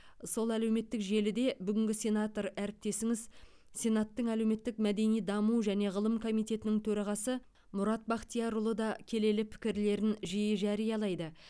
сол әлеуметтік желіде бүгінгі сенатор әріптесіңіз сенаттың әлеуметтік мәдени даму және ғылым комитетінің төрағасы мұрат бақтиярұлы да келелі пікірлерін жиі жариялайды